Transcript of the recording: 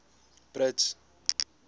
brits